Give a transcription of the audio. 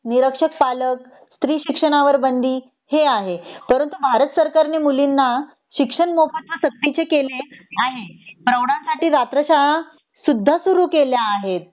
निरक्षर पालक स्त्री शिक्षणावर बंदी हे आहे परंतु भारत सरकार ने मुलीना शिक्षण मोफत व सक्तीचे केले आहे तेवढ्या साठी रात्र शाळा सुद्धा सुरू केल्या आहेत